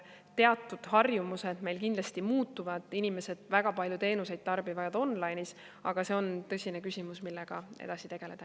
Teatud harjumused meil kindlasti muutuvad, inimesed väga palju teenuseid tarbivad online'is, aga see on tõsine küsimus, millega edasi tegeleda.